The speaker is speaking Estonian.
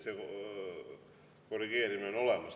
Korrigeerimine on olemas.